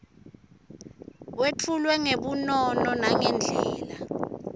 wetfulwe ngebunono nangendlela